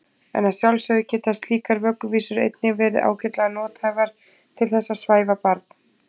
En að sjálfsögðu geta slíkar vögguvísur einnig verið ágætlega nothæfar til þess að svæfa barn.